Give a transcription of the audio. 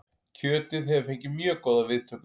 Kjötið hefur fengið mjög góðar viðtökur